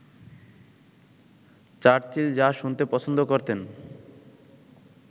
Churchill যা শুনতে পছন্দ করতেন